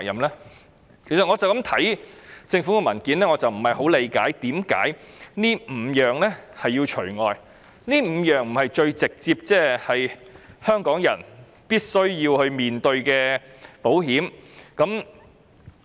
"我單單看政府的文件不理解，為甚麼這5類要除外，這5類不是最直接香港人必須面對的保險項目嗎？